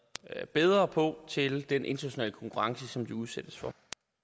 bedre på til den internationale konkurrence de udsættes for